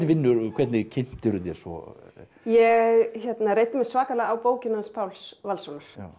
en hvernig kynntirðu þér svo ég reiddi mig svakalega á bókina hans Páls Valssonar